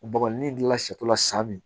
Baboli n'i dilan sato la sa min